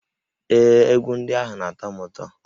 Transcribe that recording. Ee, egwu ndị ahụ na-atọ m ụtọ